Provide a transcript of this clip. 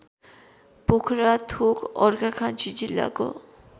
पोखराथोक अर्घाखाँची जिल्लाको